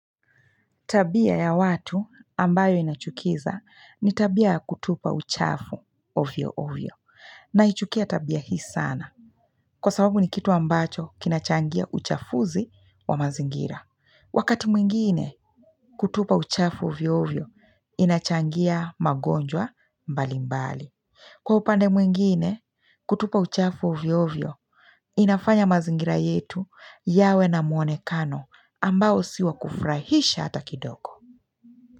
Tabia ya watu ambayo inachukiza ni tabia kutupa uchafu ovyo ovyo. Naichukia tabia hii sana. Kwa sababu ni kitu ambacho kinachangia uchafuzi wa mazingira. Wakati mwingine kutupa uchafu ovyo ovyo inachangia magonjwa mbali mbali. Kwa upande mwingine kutupa uchafu ovyo ovyo inafanya mazingira yetu yawe na mwonekano ambao si wa kufurahisha hata kidogo.